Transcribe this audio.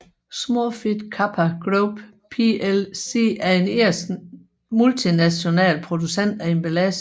Smurfit Kappa Group plc er en irsk multinational producent af emballage